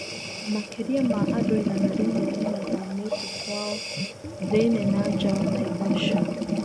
Makĩrĩa ma andũigana rĩmwe nĩmathamĩte kwao thĩiniĩ na nja wa Naivasha.